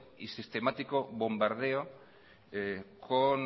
y sistemático bombardeo con